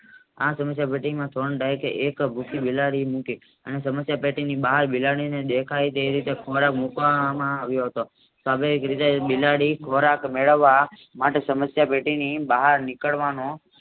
આ સમસ્યા ટેટીમાં ટ્રોન ડાયટે એકભૂખી બિલાડી મૂકી અને સમસ્યા ટેટીની બહાર દેખાય તે રીતે ખૂણામાં ખોરાક મુકવામાં આવ્યો હતો સ્વાભાવિક રીતે બિલાડી ખોરાક મેળવવા માટે સમસ્યા ટેટીની બહાર નીકળવાનો